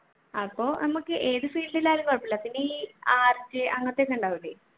അപ്പൊ നമുക്ക് ഏത് field ആയാലും കൊഴപ്പമില്ല പിന്നെ ഈ art അങ്ങനത്തെയൊക്കെ ഉണ്ടാവൂലെ